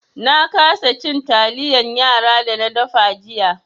Na kasa cin taliyan yara da na dafa jiya.